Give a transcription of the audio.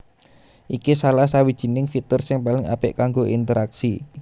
Iki salah sawijining fitur sing paling apik kanggo interaksi